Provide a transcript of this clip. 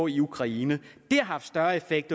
i ukraine det har haft større effekt